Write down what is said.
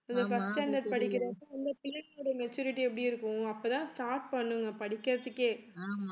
first standard படிக்கிறப்ப அந்த பிள்ளைகளோட maturity எப்படி இருக்கும் அப்பதான் start பண்ணுங்க படிக்கிறதுக்கே